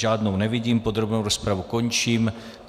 Žádnou nevidím, podrobnou rozpravu končím.